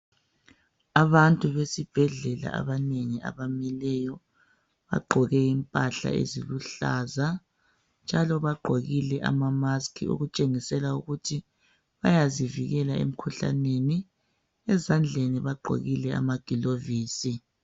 Abantu besibhedlela abanengi abamileyo bagqoke impahla eziluhlaza njalo bagqokile ama"mask' okutshengisela ukuthi bayazivikela emikhuhlaneni. Ezandleni bagqokile amagilovisi.